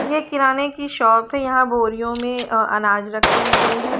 ये किराने की शॉप है यहाँ बोरियों मे अ अनाज रखे हुए है ।